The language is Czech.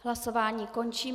Hlasování končím.